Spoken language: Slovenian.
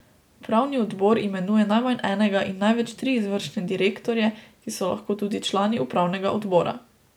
Upravni odbor imenuje najmanj enega in največ tri izvršne direktorje, ki so lahko tudi člani upravnega odbora.